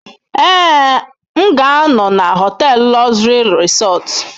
Ee, m ga-anọ na họtel Luxury Resort.